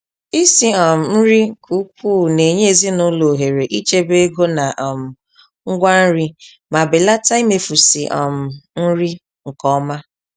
Isi um nri n'ukwu na-enye ezinụlọ ohere ichebe ego na um ngwa nri ma belata imefusi um nri nke ọma.